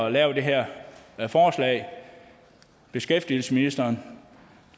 at lave det her forslag beskæftigelsesministeren